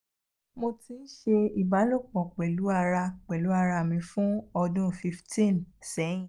mo ti n se ibalopo pelu ara pelu ara mi fun odun [cs[ fifteen sẹhin